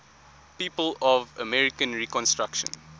people of american reconstruction